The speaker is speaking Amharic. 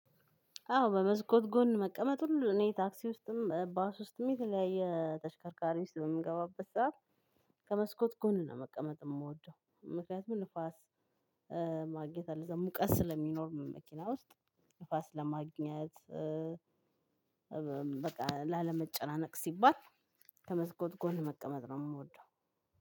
አዎ በመስኮት ጎን መቀመጥ ሁሉ እኔ ታክሲ ውስጥም ባስ ውስጥም የተለያየ ተሽከርካሪ ውስጥ በምገባበት ሰዓት ከመስኮት ጎን ነው መቀመጥ የምወደው ምክንያቱም ንፋስ ማግኘት አለው እዛው ሙቀት ስለሚኖር መኪና ውስጥ ንፋስ ለማግኘት። በቃ ላለመጨናነቅ ሲባል ከመስኮት ጎን መቀመጥ ነው የምወደው።